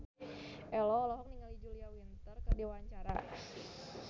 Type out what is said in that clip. Ello olohok ningali Julia Winter keur diwawancara